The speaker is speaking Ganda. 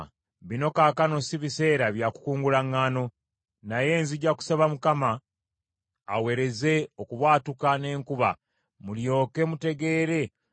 Awo Samwiri n’asaba Mukama , Mukama n’aweereza okubwatuka n’enkuba, abantu bonna ne batya nnyo Mukama ne Samwiri.